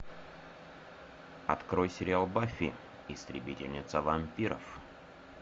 открой сериал баффи истребительница вампиров